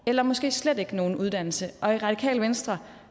eller måske slet ikke nogen uddannelse og i radikale venstre